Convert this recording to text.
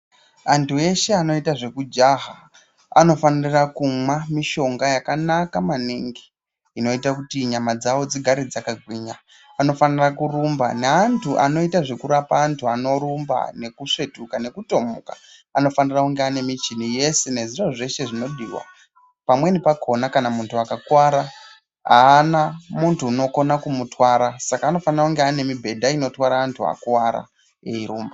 Antu eshe anoita zvekujaha anofanire kumwa mishonga yakanaka maningi inoita kuti nyama dzawo dzigare dzakagwinya. Anofanire kurumba neantu anoita zvekurapa antu anorumba, nekusvetuka nekutomuka anofanire kunge ane michini yese nezviro zveshe zvinodiwa. Pamweni pakhona kana munhu akakuwara apana muntu unokona kumutwara saka anofanire kunge aine mubhedha inotwara antu akuwara eirumba.